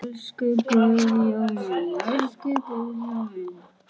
Elsku Guðjón minn.